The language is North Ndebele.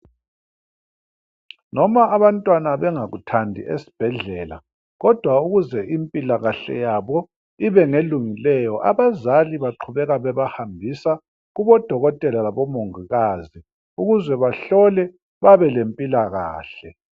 Noma abantwana bengakuthandi esibhedlela kodwa ukuze impilakahle yabo ibe ngelungileyo abazali baqhubeka bebahambisa kubodokotela labomongikazi ukuze bahlolwe babelempilakahle.